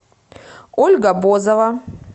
ольга бозова